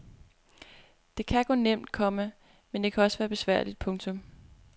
Det kan gå nemt, komma men det kan også være besværligt. punktum